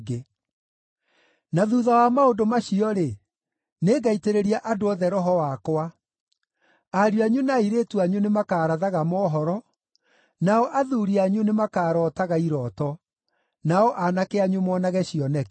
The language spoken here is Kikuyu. “Na thuutha wa maũndũ macio-rĩ, nĩngaitĩrĩria andũ othe Roho wakwa. Ariũ anyu na airĩtu anyu nĩmakarathaga mohoro, nao athuuri anyu nĩmakarootaga irooto, nao aanake anyu monage cioneki.